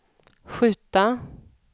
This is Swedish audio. skjuta